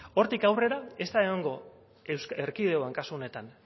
hortik aurrera ez da egongo erkidegoan kasu honetan